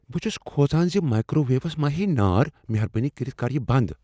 بہٕ چھس كھوژان زِ مائکرو ویوس ما ہییہِ نار۔ مہربٲنی کٔرتھ کر یہ بند ۔